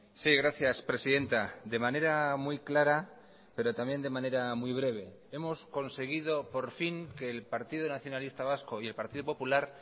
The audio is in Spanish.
sí gracias presidenta de manera muy clara pero también de manera muy breve hemos conseguido por fin que el partido nacionalista vasco y el partido popular